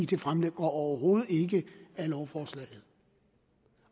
det fremgår overhovedet ikke af lovforslaget